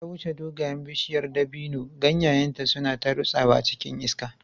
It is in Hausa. Abubakar ya wuce dogayen bishiyar dabino, ganyayenta suna ta rutsawa cikin iska.